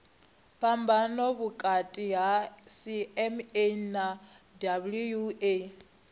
phambano vhukati ha cma na wua